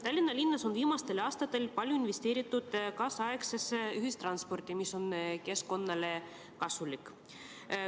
Tallinnas on viimastel aastatel palju investeeritud nüüdisaegsesse ühistransporti, mis on keskkonnale kasulik.